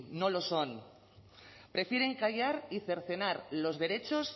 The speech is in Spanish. no lo son prefieren callar y cercenar los derechos